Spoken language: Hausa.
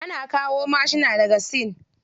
Ana kawo mashuna daga sin.